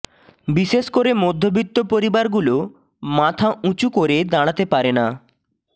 বিশেষ করে মধ্যবিত্ত পরিবারগুলো মাথা উঁচু করে দাঁড়াতে পারে না